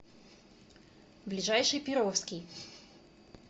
ближайший перовский